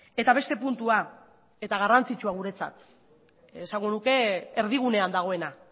eta beste puntua eta garrantzitsua guretzat esango nuke erdigunean dagoena